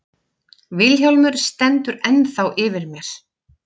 Vilhjálmur stendur ennþá yfir mér.